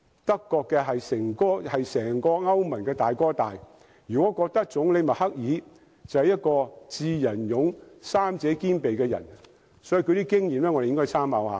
德國是整個歐盟的"大哥大"，我們如果覺得總理默克爾是一個"智、仁、勇"三者兼備的人，便應該好好參考德國的經驗。